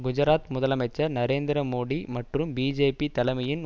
குஜராத் முதலமைச்சர் நரேந்திர மோடி மற்றும் பிஜேபி தலைமையின்